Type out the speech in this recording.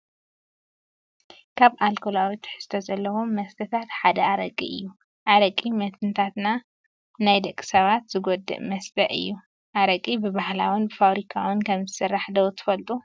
ካብ ኣልኮላዊ ትሕዝቶ ዘለዎም መስተታት ሓደ ኣረቂ እዩ፡፡ ኣረቂ መትንታት ናይ ደቂ ሰባት ዝጎድእ መስተ እዩ፡፡ ኣረቂ ብባህላውን ብፋብሪካን ከምዝስራሕ ዶ ትፈልጡ?